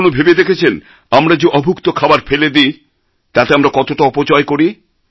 কখনও ভেবে দেখেছেন আমরা যে অভুক্ত খাবার ফেলে দিই তাতে আমরা কতটা অপচয় করি